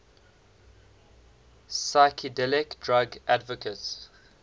psychedelic drug advocates